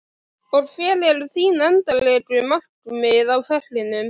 Og hver eru þín endanlegu markmið með ferlinum?